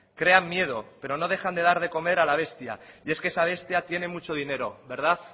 crean miedo pero no dejan de dar de comer a la bestia y es que esa bestia tiene mucho dinero verdad